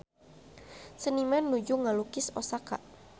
Seniman nuju ngalukis Osaka